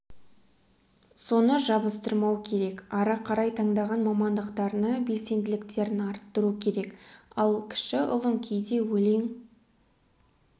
соны жабыстырмау керек ары қарай таңдаған мамандықтарына белсенділіктерін арттыру керек ал кіші ұлым кейде өлең